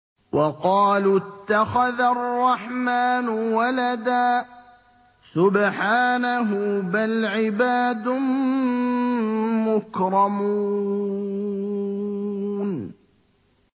وَقَالُوا اتَّخَذَ الرَّحْمَٰنُ وَلَدًا ۗ سُبْحَانَهُ ۚ بَلْ عِبَادٌ مُّكْرَمُونَ